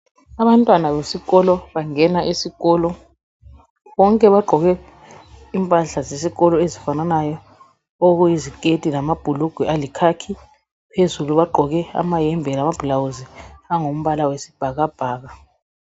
Abantwana besikolo bangena esikolo bonke baqoke impahla zesikolo ezifananayo okuyi ziketi lamabhulugwe alikhakhi , phezulu baqoke amahembe lama blawuzi angumbala wesibhakabhakha.